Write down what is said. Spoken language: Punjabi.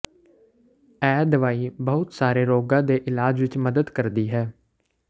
ਇਹ ਦਵਾਈ ਬਹੁਤ ਸਾਰੇ ਰੋਗਾਂ ਦੇ ਇਲਾਜ ਵਿੱਚ ਮਦਦ ਕਰਦੀ ਹੈ